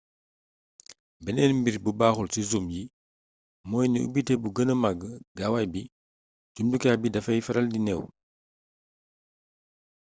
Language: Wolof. beneen mbir bu baxul ci zoom yi mooy ni ubité bu gëna mag gaawaay bi jumtukaay bi dafay faral di neew